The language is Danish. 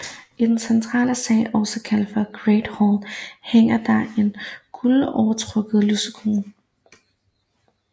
I den centrale sal også kaldet Great Hall hænger der en guldovertrukket lysekrone